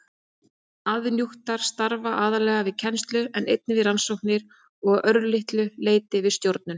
Aðjúnktar starfa aðallega við kennslu en einnig við rannsóknir og að örlitlu leyti við stjórnun.